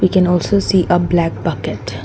we can also see a black bucket.